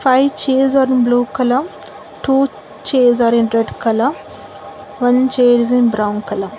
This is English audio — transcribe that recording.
five chairs are in blue colour two chairs are in red colour one chair is in brown colour.